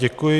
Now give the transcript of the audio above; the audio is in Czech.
Děkuji.